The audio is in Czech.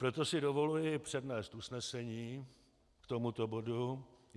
Proto si dovoluji přednést usnesení k tomuto bodu.